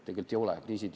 Tegelikult ei ole.